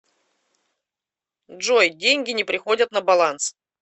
джой деньги не приходят на баланс